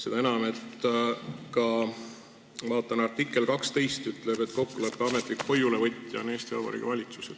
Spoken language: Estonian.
Seda enam, kui ma vaatan, et artikkel 12 ütleb, et kokkuleppe ametlik hoiulevõtja on Eesti Vabariigi valitsus.